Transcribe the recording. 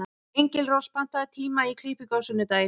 Engilrós, pantaðu tíma í klippingu á sunnudaginn.